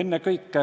Ennekõike